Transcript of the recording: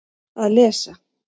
Að lesa